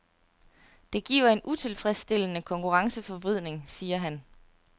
Det giver en utilfredsstillende konkurrenceforvridning, siger han.